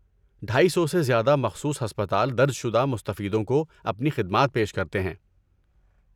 ڈایی سو سے زیادہ مخصوص ہسپتال درج شدہ مستفیدوں کو اپنی خدمات پیش کرتے ہیں